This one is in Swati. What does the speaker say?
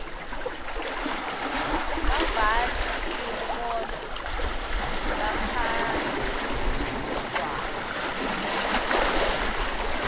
babhali tinkhondlo bakangwane